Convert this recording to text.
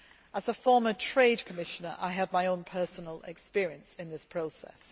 As former Trade Commissioner, I had my own personal experience in this process.